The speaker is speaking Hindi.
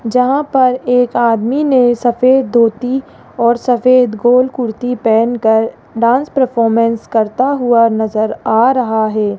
जहां पर एक आदमी ने सफेद धोती और सफेद गोल कुर्ती पहनकर डांस परफॉर्मेंस करता हुआ नजर आ रहा है।